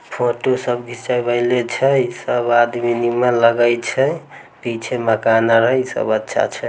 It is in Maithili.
फोटो सब घींचवे ले छै ई सब आदमी नियर लगे छै पीछे मकान आर है ई सब अच्छा छै।